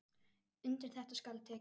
Undir þetta skal tekið.